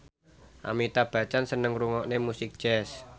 Amitabh Bachchan seneng ngrungokne musik jazz